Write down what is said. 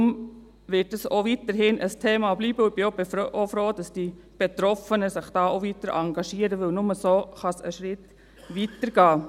Darum wird dies auch weiterhin ein Thema bleiben, und ich bin froh, dass sich die Betroffenen auch weiter engagieren, denn nur so kann es einen Schritt weiter gehen.